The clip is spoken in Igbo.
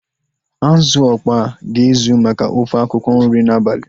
Azụ ọkpọa ga-ezu maka ofe akwụkwọ nri n'abalị